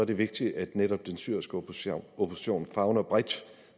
det vigtigt at netop den syriske opposition opposition favner bredt